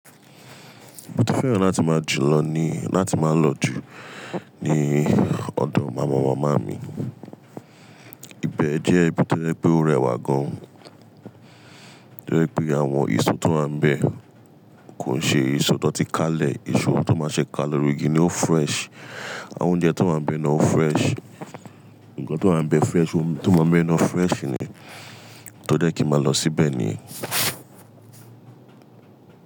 Mo fẹ́ràn láti máa jùlọ ni láti máa lọ jù ní ọ̀dun màmáwó màmá mi. Ibe jẹ́ ibi tó ye pe o rẹwà gan, toye pé àwọn èso tó máa ń bẹ kò ṣe èso tó ti kalẹ̀, èso tó máa ṣe ka lori igi ni ó fresh. Àwọn oúnjẹ tó máa ń bẹ náà ó fresh. Nǹkan tó wa ń bẹ fresh, ohun tó máa ń bẹ náà fresh ni. Torí ẹ̀ kí màá lọ síbẹ̀ nìyẹn.